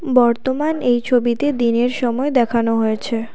বর্তমান এই ছবিতে দিনের সময় দেখানো হয়েছে।